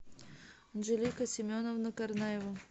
анжелика семеновна карнаева